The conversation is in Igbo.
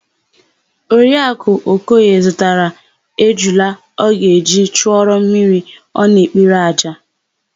Oriakụ Okoye zụtara ejula ọ ga-eji chụọrọ mmiri ọ na-ekpere àjà.